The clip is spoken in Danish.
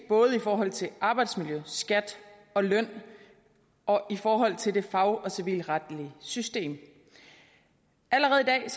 både i forhold til arbejdsmiljø skat og løn og i forhold til det fag og civilretlige system allerede i dag er